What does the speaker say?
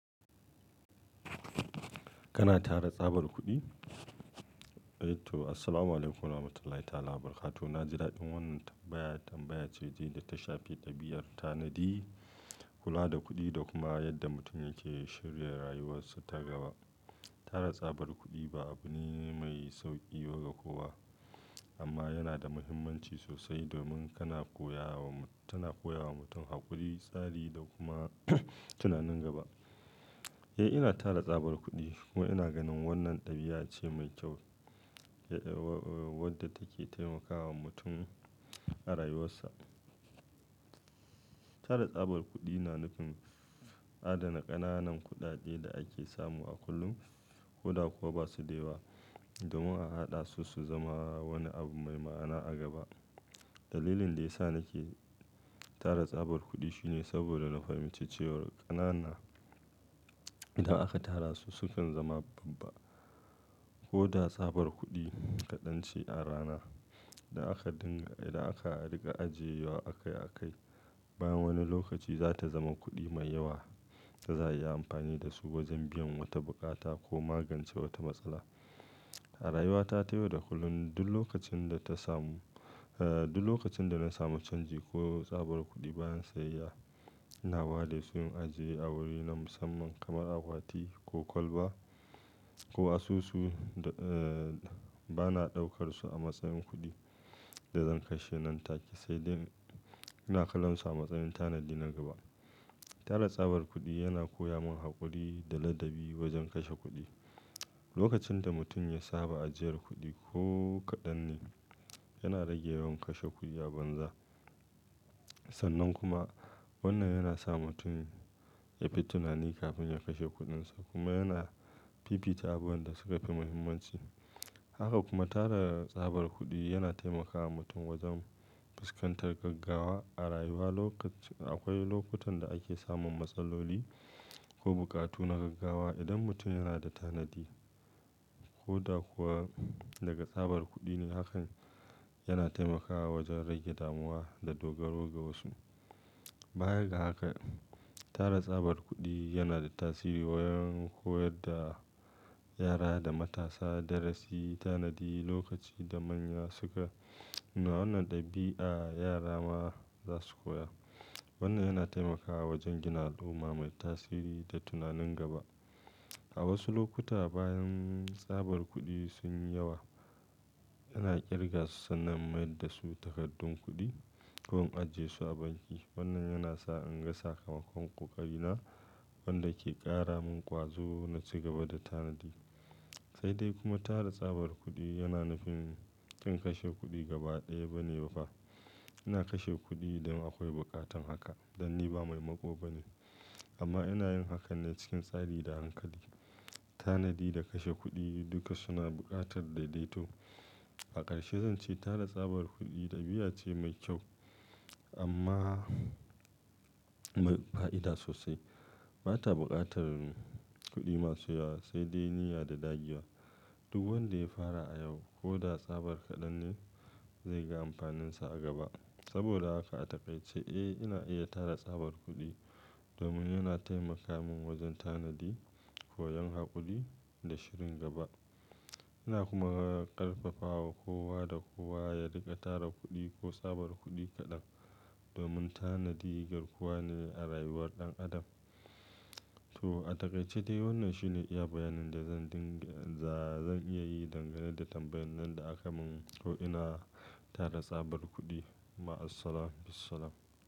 Kana tara tsabar kuɗi? Eh to, assalamu alaikum warahmatullahi ta'ala wa barakatuhu. Na ji daɗin wannan tambaya, tambaya ce da ta shafi ɗabi'ar tanadi, kula da kuɗi da kuma yadda mutum yake shirya rayuwarsa ta gaba. Tara tsabar kuɗi ba abu ne mai sauƙi ba ga kowa, amma yana da muhimmanci sosai domin kana koya wa-- tana koya wa mutum haƙuri, tsari da kuma tunanin gaba. Eh, ina tara tsabar kuɗi kuma ina ganin wannan ɗabi'a ce mai kyau, wadda take taimakawa mutum a rayuwarsa, Tara tsabar kuɗi na nufin, adana ƙananan kuɗaɗe da ake samu a kullum, ko da kuwa ba su da yawa, domin a haɗa su su zama wani abu mai ma'ana a gaba. Dalilin da ya sa nake tara tsabar kuɗi shine saboda na fahimci cewar ƙanana, idan aka tara su sukan zama babba. Ko da tsabar kuɗi kaɗan ce a rana, da aka dinga, idan aka riƙa ajiyewa akai-akai, bayan wani lokaci za ta zama kuɗi mai yawa da za'a iya amfani da su wajen biyan wata buƙata ko magance wata matsala. A rayuwa ta ta yau da kullum, duk lokacin da ta samu, eh duk lokacin da na samu canji ko tsabar kuɗi bayan sayayya, ina ware su in ajiye a wuri na musamman kamar akwati ko kwalba, ko asusu, eh bana ɗaukar su a matsayin kuɗi, da zan kashe nan take, sai dai ina kallonsu a matsayin tanadi na gaba. Tara tsabar kuɗi yana koya min haƙuri da ladabi wajen kashe kuɗi. Lokacin da mutum ya saba ajiyar kuɗi ko kaɗan ne, yana rage yawan kashe kuɗi a banza. Sannan kuma wannan yana sa mutum ya fi tunani kafin ya kashe kuɗinsa, kuma yana fifita abubuwan da suka fi muhimmanci. Haka kuma tara tsabar kuɗi yana taimakawa mutum wajen fuskantar gaggawa a rayuwa. Lokacin-- akwai lokutan da ake samun matsaloli, ko buƙatu na gaggawa, idan mutum yana da tanadi, ko da kuwa daga tsabar kuɗi ne Hakan yana taimakawa wajen rage damuwa da dogaro ga wasu. Baya ga haka, tara tsabar kuɗi yana da tasiri wurin koyar da yara da matasa darasi, tanadi, lokaci, da manya suka nuna wannan ɗabi'a, yara ma za su koya. Wannan yana taimakawa wajen gina al'umma mai tasiri da tunanin gaba. A wasu lokuta bayan tsabar kuɗi sun yi yawa, ina ƙirga su sannan in mayar da su takardun kuɗi, ko in ajiye su a banki. Wannan yana sa in ga sakamakon ƙoƙarina, wanda ke ƙara min ƙwazo na ci gaba da tanadi. Sai dai kuma tara tsabar kuɗi yana nufin, ƙin kashe kuɗi gaba ɗaya bane ba fa. Ina kashe kuɗi idan akwai buƙatar haka, dan ni ba mai maƙo bane amma ina yin hakan ne cikin tsari da hankali. Tanadi da kashe kuɗi duka suna buƙatar daidaito. A ƙarshe zan ce tara tsabar kuɗi ɗabi'a ce mai kyau amma mai fa'ida sosai. Ba ta buƙatar kuɗi masu yawa, sai dai niyya da dagiya. Duk wanda ya fara a yau, ko da tsabar kaɗan ne, zai ga amfaninsa a gaba. Saboda haka a takaice, eh ina iya tara tsabar kuɗi, domin yana taimaka min wajen tanadi, koyon haƙuri da shirin gaba. Ina kuma ƙarfafawa kowa da kowa ya riƙa tara kuɗi ko tsabar kuɗi kaɗan domin tanadi garkuwa ne a rayuwar ɗan adam. To a taƙaice dai wannan shine iya bayanin da zan dinga-- za zan iya yi dangane da tambayar nan da aka min ko ina tara tsabar kuɗi. Ma assalam, bissalam.